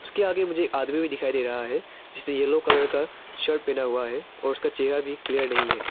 इसके आगे मुझे एक आदमी भी दिखाई दे रहा है जिसने येलो कलर का शर्ट पहना हुआ है और उसका चेहरा भी क्लियर नहीं है।